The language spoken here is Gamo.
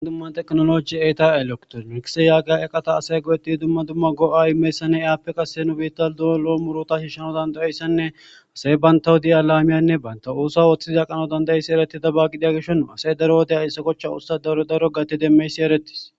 dumma teknoloji eeta elektor mikise yaageya eqata asay go7etidi dumma dumma go7a imeyssanne iaappe qase nu bita doolo muruta shishshano dandayeyssanne asey bayntawu di7a laamiyanne banta uusa ooththiza qano dandayeyssi ereti daba gidiya geshon asey daro odaya issa kochcha ussa rdaro gati demmeysi erettis